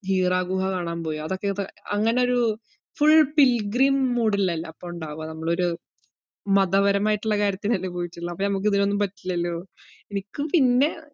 Hira ഗുഹ കാണാൻ പോയി. അതൊക്കെ ഇപ്പ അങ്ങനൊരു full pilgrim mood ഇലല്ലേ അപ്പം ഒണ്ടാവ്വാ, നമ്മളൊരു മതപരമായിട്ട്ള്ള കാര്യത്തിനല്ലേ പോയിട്ടുളെള അപ്പൊ നമ്മക്ക് ഇതിനൊന്നും പറ്റില്ലല്ലോ. എനിക്ക് പിന്നെ